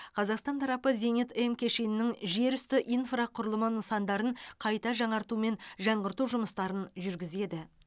қазақстан тарапы зенит м кешенінің жерүсті инфрақұрылымы нысандарын қайта жаңарту мен жаңғырту жұмыстарын жүргізеді